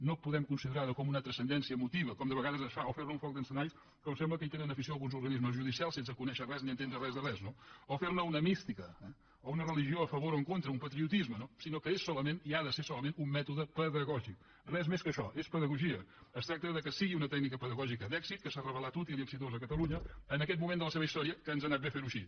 no podem considerar ho com una transcendència emotiva com de vegades es fa o fer ne un foc d’encenalls com sembla que hi tenen afició alguns organismes judicials sense conèixer res ni entendre res de res no o fer ne una mística eh o una religió a favor o en contra un patriotisme sinó que és solament i ha de ser solament un mètode pedagògices tracta que sigui una tècnica pedagògica d’èxit que s’ha revelat útil i exitosa a catalunya en aquest moment de la seva història que ens ha anat bé fer ho així